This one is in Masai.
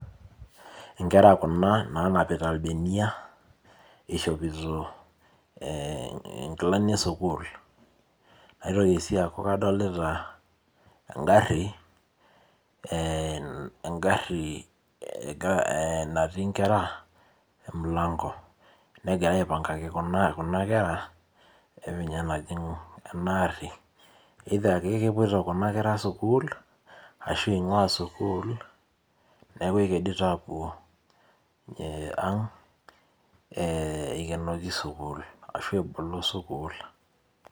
Nkera kuna nanapita irbenia ishopito nkilani esukul naitoki si aaku kadolta engari natii nkera emilango negirai aipangaki kuna kera enejing enaari eitha kepuoito kuna kera sukul ashu ingua sukul neaku ekedito apuo aang ikenoki sukul ashu ebolo sukul.